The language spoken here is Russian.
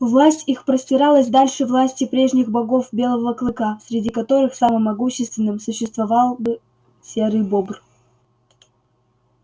власть их простиралась дальше власти прежних богов белого клыка среди которых самым могущественным существовал бы серый бобр